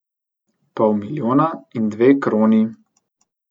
Pol milijona in dve kroni.